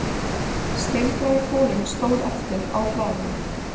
Steingrái folinn stóð eftir á hlaðinu